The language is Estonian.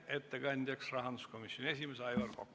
Ettekandja on rahanduskomisjoni esimees Aivar Kokk.